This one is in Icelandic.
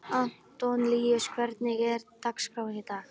Antoníus, hvernig er dagskráin í dag?